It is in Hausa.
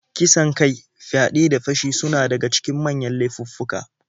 Kisan kai, fyaɗe, da fashi suna daga cikin manyan laifuffuka.